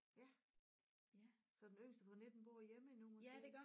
Ja så den yngste på 19 bor hjemme endnu måske